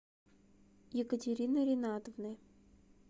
екатерины ринатовны